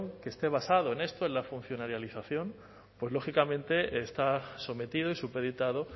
que esté basado en esto en la funcionarialización pues lógicamente está sometido y supeditado